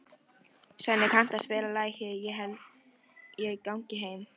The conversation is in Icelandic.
Svenni, kanntu að spila lagið „Ég held ég gangi heim“?